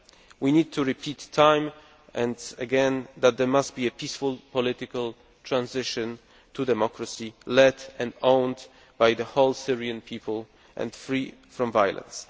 We need to repeat time and again that there must be a peaceful political transition to democracy, led and owned by the whole Syrian people and free from violence.